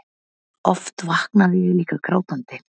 Oft vaknaði ég líka grátandi.